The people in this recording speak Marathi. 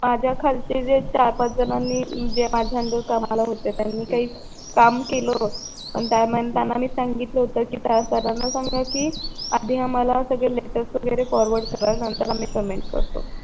माझ्या खालचे जे चार पाच जणांनी म्हणजे जे माझ्या अंडर कामाला होते त्यांनी काही काम केलं त्या मानाने त्यांना सांगितलं होत कि त्या सरांना सांगा कि आधी आम्हाला सगळे लेटर्स वगैरे फॉरवर्ड करा नंतर आम्ही पेमेंट करतो